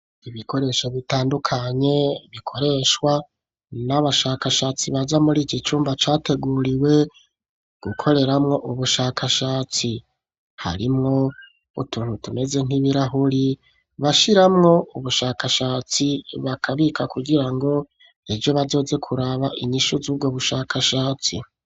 Ibikoresho bitandukanye bikoreshwa n'abashakashatsi baza muri iki cumba categuriwe gukoreramwo ubushakashatsi, harimwo utuntu tumeze nk'ibirahuri bashiramwo ubushakashatsi bakabika kugira ngo ejo bazoze kuraba inyishu z'ubwo bushakashatsi.